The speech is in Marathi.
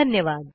धन्यवाद